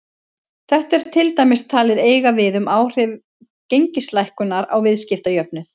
Þetta er til dæmis talið eiga við um áhrif gengislækkunar á viðskiptajöfnuð.